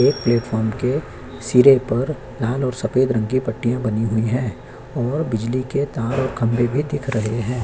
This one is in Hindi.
एक प्लेटफार्म के सिरे पर लाल और सफेद रंग की पट्टिया बनी हुई है और बिजली के तार और खंभे भी दिख रहे हैं।